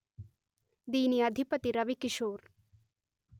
దీని అధిపతి రవికిషోర్